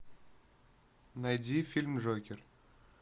найди фильм джокер